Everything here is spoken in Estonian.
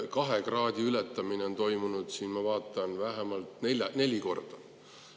ma vaatan, on ületatud 2 kraadi võrra vähemalt neli korda.